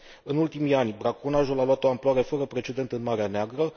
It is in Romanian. În ultimii ani, braconajul a luat o amploare fără precedent în Marea Neagră.